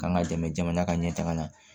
K'an ka dɛmɛ jamana ka ɲɛtaaga la